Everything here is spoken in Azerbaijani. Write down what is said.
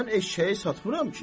Mən eşşəyi satmıram ki.